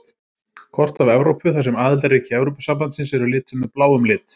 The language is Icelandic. Kort af Evrópu þar sem aðildarríki Evrópusambandsins eru lituð með bláum lit.